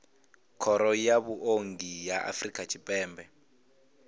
khoro ya vhuongi ya afrika tshipembe